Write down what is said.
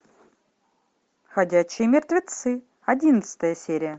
ходячие мертвецы одиннадцатая серия